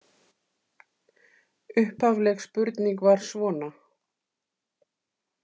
Upphafleg spurning var svona